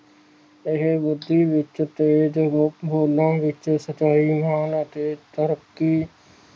ਇਹ ਬੁੱਧੀ ਵਿਚ ਤੋਂ ਦੋਨਾਂ ਵਿਚ ਸਚਾਈ ਹੈ ਨਾ ਕਿ ਤਰੱਕੀ